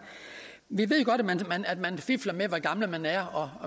vi ved jo godt at man fifler med hvor gammel man er og